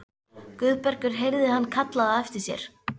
Guðbergur heyrði hann kallað á eftir sér.